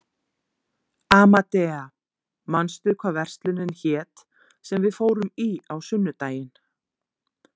Amadea, manstu hvað verslunin hét sem við fórum í á sunnudaginn?